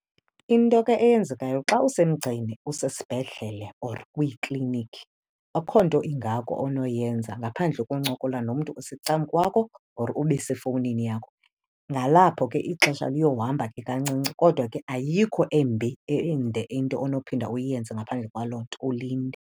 Into eke yenzekayo xa usemgceni usesibhedlele or kwiikliniki, akho nto ingako onoyenza ngaphandle koncokola nomntu osecam kwakho or ube sefowunini yakho. Nalapho ke ixesha liyomba ke kancinci kodwa ke ayikho embi ende into onophinda uyenze ngaphandle kwalo nto, ulinde.